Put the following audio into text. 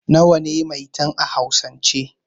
Nawa ne 'Maitan' a hausan ce?